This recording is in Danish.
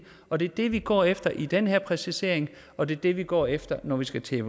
og det er det vi går efter i den her præcisering og det er det vi går efter når vi skal til